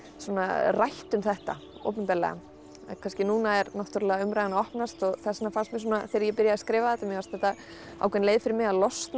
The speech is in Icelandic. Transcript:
rætt um þetta opinberlega kannski núna er umræðan að opnast og þess vegna fannst mér þegar ég byrjaði að skrifa þetta mér fannst þetta ákveðin leið fyrir mig að losna